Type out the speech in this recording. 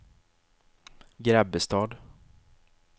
Grebbestad